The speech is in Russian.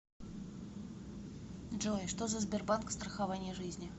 джой что за сбербанк страхование жизни